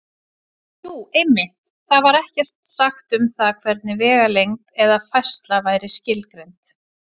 Jú, einmitt: Þar var ekkert sagt um það hvernig vegalengd eða færsla væri skilgreind!